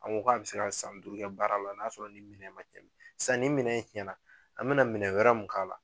An ko k'a bɛ se ka san duuru kɛ baara la n'a sɔrɔ ni minɛn man cɛn sisan ni minɛn in cɛn na an bɛ na minɛn wɛrɛ mun k'a la.